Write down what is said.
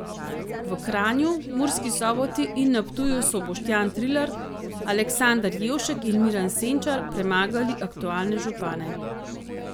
V Kranju, Murski Soboti in na Ptuju so Boštjan Trilar, Aleksander Jevšek in Miran Senčar premagali aktualne župane.